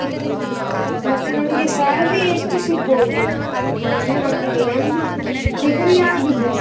ಮತ್ತೆ ನನ್ಗೆ salary ಎಷ್ಟು ಸಿಗ್ಬೌದು? ಮಟ್ಟಿಗೆ ನಂದು degree ಆಗಿದೆ.